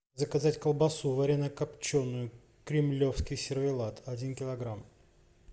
заказать колбасу варено копченую кремлевский сервелат один килограмм